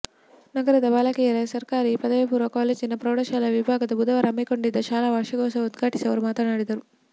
ನಗರದ ಬಾಲಕಿಯರ ಸರ್ಕಾರಿ ಪದವಿ ಪೂರ್ವ ಕಾಲೇಜಿನ ಪ್ರೌಢಶಾಲಾ ವಿಭಾಗ ಬುಧವಾರ ಹಮ್ಮಿಕೊಂಡಿದ್ದ ಶಾಲಾ ವಾರ್ಷಿಕೋತ್ಸವ ಉದ್ಘಾಟಿಸಿ ಅವರು ಮಾತನಾಡಿದರು